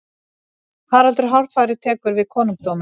haraldur hárfagri tekur við konungdómi